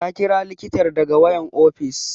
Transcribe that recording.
Ta ƙira likitar daga wayan ofis